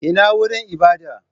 Ina wurin ibada?